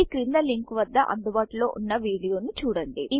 ఈ క్రింది లింక్వద్ద అందుబాటులో ఉన్న వీడియోను చూడండి